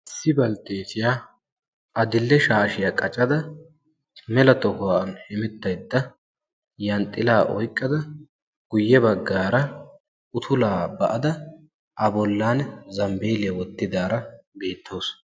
Issi baltteetiyaa adidhe shaashiyaa qacada mela tohuwan hemettaydda yanxxilaa oyqqada guyye baggaara utulaa ba"ada A bollan zambbelliyaa wottidaara beettawus.